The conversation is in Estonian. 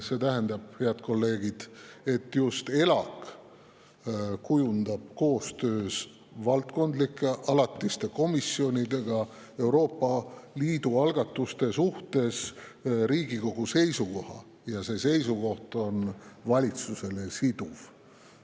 See tähendab, head kolleegid, et just ELAK kujundab koostöös valdkondlike alatiste komisjonidega Euroopa Liidu algatuste suhtes Riigikogu seisukoha ja see seisukoht on valitsusele siduv.